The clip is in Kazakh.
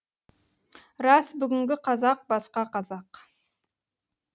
рас бүгінгі қазақ басқа қазақ